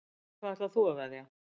Á hvað ætlar þú að veðja?